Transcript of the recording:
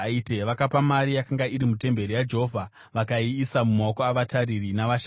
Vakapa mari yakanga iri mutemberi yaJehovha vakaiisa mumaoko avatariri navashandi.”